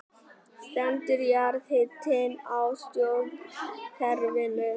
Stendur jarðhitinn í stjórnkerfinu